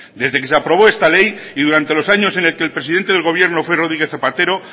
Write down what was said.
desde que se aprobó esta ley y durante los años en el que el presidente del gobierno fue rodríguez zapatero